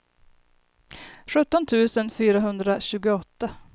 sjutton tusen fyrahundratjugoåtta